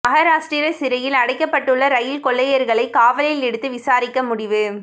மகாராஷ்டிரா சிறையில் அடைக்கப்பட்டுள்ள ரயில் கொள்ளையர்களை காவலில் எடுத்து விசாரிக்க முடிவு